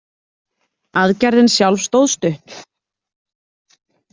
Aðgerðin sjálf stóð stutt.